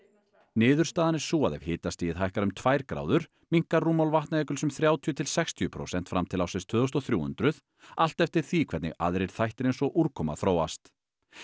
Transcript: niðurstaðan er sú að ef hitastigið hækkar um tvær gráður minnkar rúmmál Vatnajökuls um þrjátíu til sextíu prósent fram til ársins tvö þúsund og þrjú hundruð allt eftir því hvernig aðrir þættir eins og úrkoma þróast